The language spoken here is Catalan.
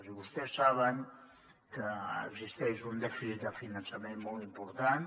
i vostès saben que existeix un dèficit de finançament molt important